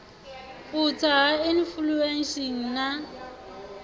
u tsa ha inifulesheni na